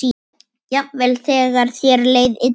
Jafnvel þegar þér leið illa.